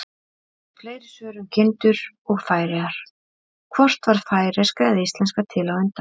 Fleiri svör um kindur og Færeyjar: Hvort varð færeyska eða íslenska til á undan?